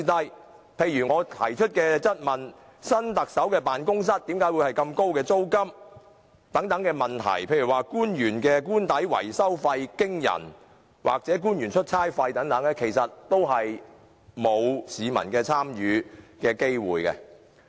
舉例而言，我在質詢中曾問及有關新特首辦公室租金高昂、官員的官邸維修費驚人及官員出差費用龐大等的事宜，其實市民從沒機會參與。